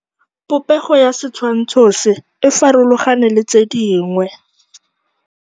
Popêgo ya setshwantshô se, e farologane le tse dingwe.